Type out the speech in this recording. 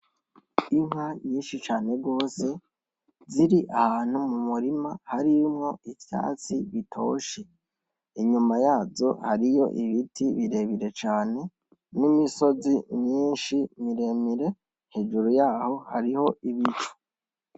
Inka nyinshi cane gose ziri ahantu mu murima harimwo ivyatsi bitoshe. Inyuma yazo hariyo ibiti birebire cane n’imisozi myinshi miremire. Hejuru yaho hariho ibicu.